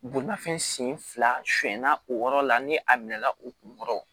Bolimafɛn senfila sɛnna o yɔrɔ la ni a minɛ la o kunkɔrɔ